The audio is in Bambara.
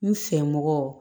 N fɛmɔgɔ